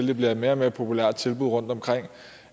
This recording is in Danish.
det bliver et mere og mere populært tilbud rundtomkring